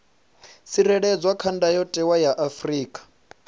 tsireledzwa kha ndayotewa ya afrika